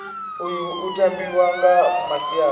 uyu u tambiwa nga masiari